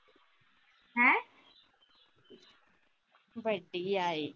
ਬੈਠੀ ਆ ਇਹ